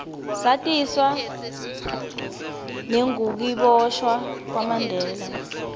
satiswa nengukiboshwa kwamandela